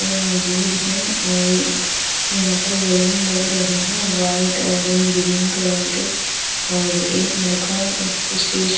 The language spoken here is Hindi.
और मौजूद है और यहां पर बैलून लग रहे हैं व्हाइट ऑरेंज ग्रीन कलर के और एक लड़का उस स्टेज --